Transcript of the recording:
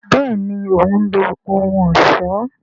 béèni òun lo ohùn ọṣọ.